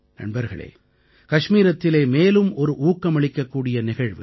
நண்பர்களே கஷ்மீரத்திலே மேலும் ஒரு ஊக்கமளிக்கக்கூடிய நிகழ்வு